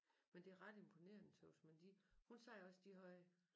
Men det er ret imponerende tøs man de hun sagde også de havde